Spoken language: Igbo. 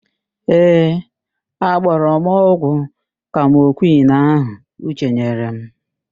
Ee, agbọrọ m ọgwụ kamokwịn ahụ Uche nyere m.